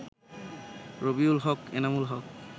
Rabiul Haq, Enamul Haque